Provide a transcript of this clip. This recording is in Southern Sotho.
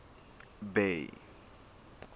bay